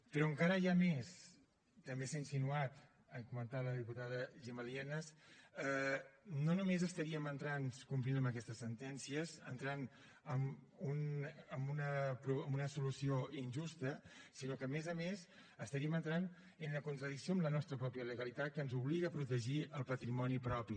però encara hi ha més també s’ha insinuat ho ha comentat la diputada gemma lie nas no només entraríem complint amb aquestes sentències en una solució injusta sinó que a més a més entraríem en contradicció amb la nostra pròpia legalitat que ens obliga a protegir el patrimoni propi